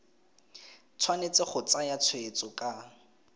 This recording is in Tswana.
tshwanetse go tsaya tshweetso ka